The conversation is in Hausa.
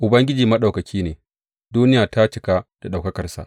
Ubangiji Maɗaukaki ne; duniya ta cika da ɗaukakarsa.